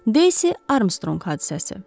Daisy Armstrong hadisəsi.